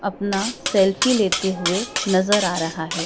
अपना सेल्फी लेते हुए नज़र आ रहा है।